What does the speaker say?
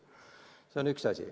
See on üks asi.